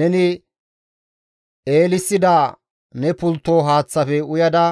Neni eelissida ne pultto haaththafe uyada